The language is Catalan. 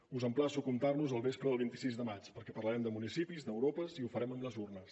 us emplaço a comptar nos el vespre del vint sis de maig perquè parlarem de municipis d’europa i ho farem amb les urnes